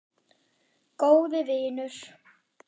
Góði vinur.